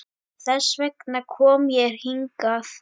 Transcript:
Þess vegna kom ég hingað.